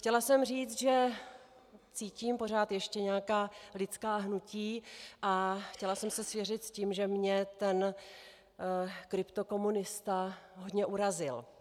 Chtěla jsem říci, že cítím pořád ještě nějaká lidská hnutí, a chtěla jsem se svěřit s tím, že mě ten kryptokomunista hodně urazil.